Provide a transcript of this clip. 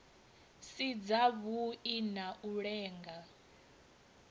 si dzavhui na u lenga